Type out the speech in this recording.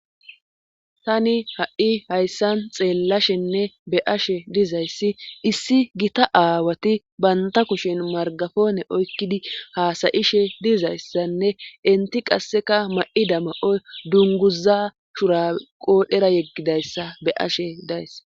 Tani ha'i hayssan xeellashenne be ashe dizayssi issi gita aawati banta kushen margafoone oykkidi haasayishe dizayssanne inti qasseka ma'i dama'oy dunguza shura qoodhera yeggidayssa be ashe days.